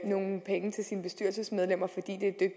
nogle penge til sine bestyrelsesmedlemmer fordi det